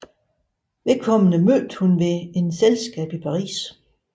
Vedkommende mødte hun ved et selskab i Paris